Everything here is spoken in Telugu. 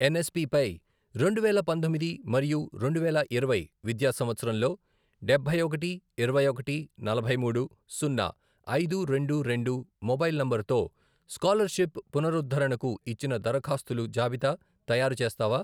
ఎన్ఎస్పి పై రెండువేల పంతొమ్మిది మరియు రెండువేల ఇరవై విద్యా సంవత్సరంలో డబ్బై ఒకటి, ఇరవై ఒకటి, నలభై మూడు, సున్నా, ఐదు, రెండు, రెండు, మొబైల్ నంబరుతో స్కాలర్షిప్ పునరుద్ధరణకు ఇచ్చిన దరఖాస్తుల జాబితా తయారుచేస్తావా?